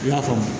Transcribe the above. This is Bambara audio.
I y'a faamu